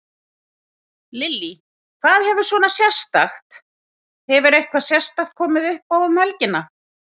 Lillý: Hvað hefur svona sérstakt, hefur eitthvað sérstakt komið uppá um helgina?